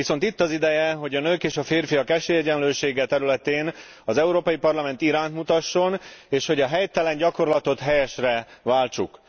Viszont itt az ideje, hogy a nők és a férfiak esélyegyenlősége területén az Európai Parlament irányt mutasson, és hogy a helytelen gyakorlatot helyesre váltsuk.